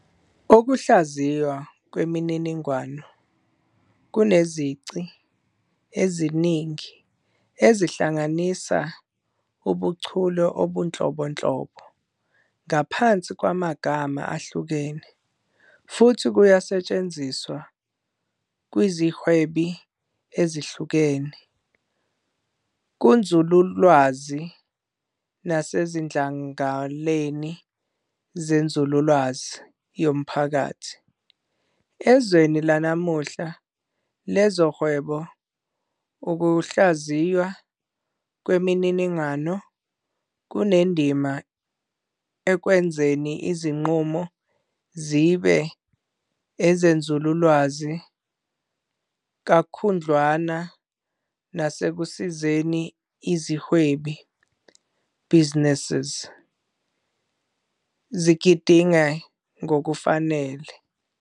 Ukuhlaziywa kwemininingo kunezici eziningi, ezihlanganisa ubuchule obunhlobonhlobo ngaphansi kwamagama ahlukene, futhi kuyasetshenziswa kwizihwebi ezihlukene, kunzululwazi, nasezidlangaleni zenzululwazi yomphakathi. Ezweni lanamuhla lezohwebo, ukuhlaziywa kwemininingo kunendima ekwenzeni izinqumo zibe ezenzululwazi kakhudlwana nasekusizeni izihwebi, "businesses", zigidinge ngokufanele.